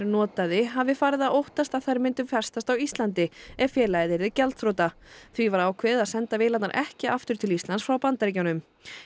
notaði hafi farið að óttast að þær myndu festast á Íslandi ef félagið yrði gjaldþrota því var ákveðið að senda vélarnar ekki aftur til Íslands frá Bandaríkjunum